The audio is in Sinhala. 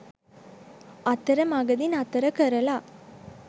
අතරමගදි නතර කරලා